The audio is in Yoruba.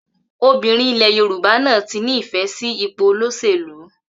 Obìrin ilé Yorùbá náà tí ní ìfẹ sí ipò olóṣèlú